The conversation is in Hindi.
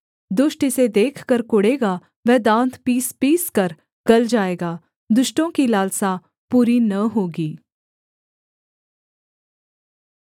दुष्ट इसे देखकर कुढ़ेगा वह दाँत पीसपीसकर गल जाएगा दुष्टों की लालसा पूरी न होगी